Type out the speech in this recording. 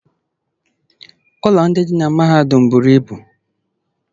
ụlọ ndị dị na mahadum buru ibu